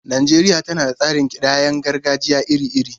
Najeriya tana da tsarin kidayar gargajiya iri-iri.